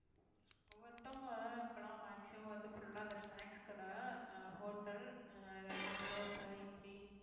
ஒவ்வொருத்தவங்க இப்பலாம் maximum வந்து full ஆ இந்த snacks கடை ஆஹ் hotel ஆஹ் ஏதாவது தோசை இட்லி